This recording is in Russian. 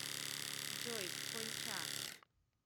джой конча